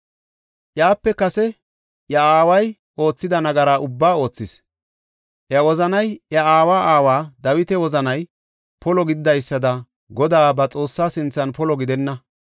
Iyape kase, iya aaway oothida nagara ubbaa oothis. Iya wozanay iya aawa aaway Dawita wozanay polo gididaysada Godaa, ba Xoossaa sinthan polo gidenna.